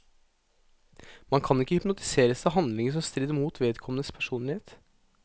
Man kan ikke hypnotiseres til handlinger som strider mot vedkommendes personlighet.